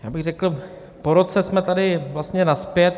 Já bych řekl, po roce jsme tady vlastně nazpět.